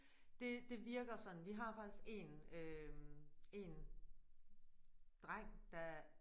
Det det virker sådan vi har faktisk én øh én dreng der